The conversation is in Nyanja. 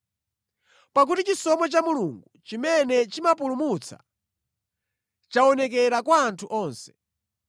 Pakuti chisomo cha Mulungu chimene chimapulumutsa chaonekera kwa anthu onse.